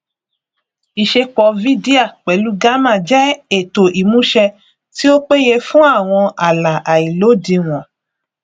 ìṣepọ vydia pẹlú gamma jẹ ètò ìmúṣẹ tí ó péye fún àwọn àlá àìlódiwọn